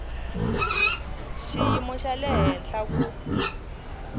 xiyimo xa le henhla ku